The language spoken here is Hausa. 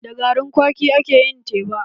Da garin kwaki ake yin teba.